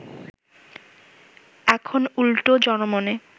এখন উল্টো জনমনে